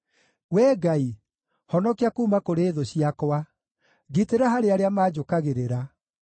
Wee Ngai, honokia kuuma kũrĩ thũ ciakwa; ngitĩra harĩ arĩa manjũkagĩrĩra.